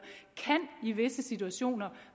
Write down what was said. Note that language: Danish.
i visse situationer